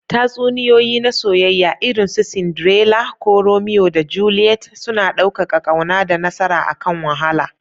Tatsuniyoyi na soyayya, irin su Cinderella ko Romeo da Juliet, suna ɗaukaka ƙauna da nasara akan wahala.